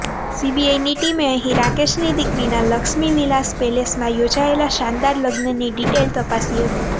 સીબીઆઇની ટીમે અહી રાકેશની દીકરીના લક્ષ્મી વિલાસ પેલેસમાં યોજાયેલા શાનદાર લગ્નની ડિટેઇલ તપાસી હતી